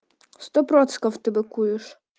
сто процентов ты быкуешь